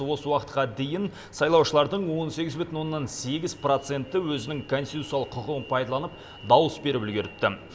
осы уақытқа дейін сайлаушылардың он сегіз бүтін оннан сегіз проценті өзінің конституциялық құқығын пайдаланып дауыс беріп үлгеріпті